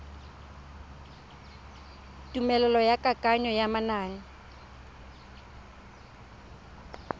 tumelelo ya kananyo ya manane